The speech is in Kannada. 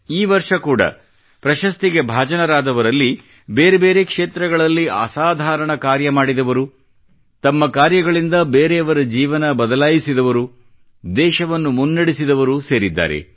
ಈ ವರ್ಷ ಕೂಡಾ ಪ್ರಶಸ್ತಿಗೆ ಭಾಜನರಾದವರಲ್ಲಿ ಬೇರೆ ಬೇರೆ ಕ್ಷೇತ್ರಗಳಲ್ಲಿ ಅಸಾಧಾರಣ ಕಾರ್ಯ ಮಾಡಿದವರು ತಮ್ಮ ಕಾರ್ಯಗಳಿಂದ ಬೇರೆಯವರ ಜೀವನ ಬದಲಾಯಿಸಿದವರು ದೇಶವನ್ನು ಮುನ್ನಡೆಸಿದವರು ಸೇರಿದ್ದಾರೆ